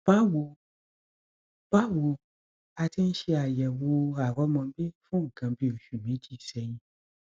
báwo báwo a ti ń ṣe àyẹwò àrọmọbí fún nǹkan bí oṣù méjì sẹyìn